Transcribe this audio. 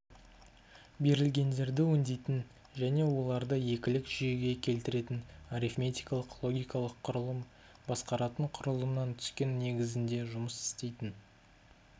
берілгендерді өңдейтін және оларды екілік жүйеге келтіретін арифметикалық-логикалық құрылым басқаратын құрылымнан түскен негізінде жұмыс істейтін